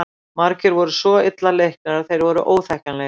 Margir voru svo illa leiknir að þeir voru óþekkjanlegir.